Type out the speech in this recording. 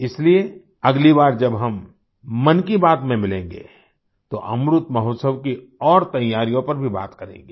इसलिए अगली बार जब हम मन की बात में मिलेंगे तो अमृतमहोत्सव की और तैयारियों पर भी बात करेंगे